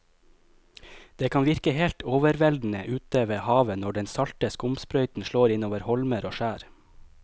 Det kan virke helt overveldende ute ved havet når den salte skumsprøyten slår innover holmer og skjær.